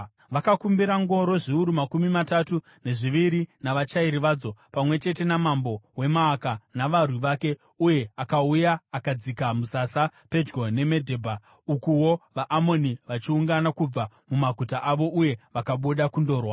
Vakakumbira ngoro zviuru makumi matatu nezviviri navachairi vadzo, pamwe chete namambo weMaaka navarwi vake, uye akauya akadzika musasa pedyo neMedebha, ukuwo vaAmoni vachiungana kubva mumaguta avo, uye vakabuda kundorwa.